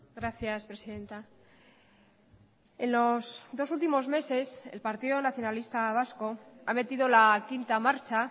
gracias presidenta en los dos últimos meses el partido nacionalista vasco ha metido la quinta marcha